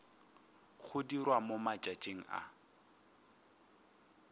go dirwa mo matšatšing a